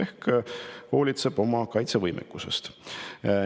Ta hoolitseb oma kaitsevõime eest.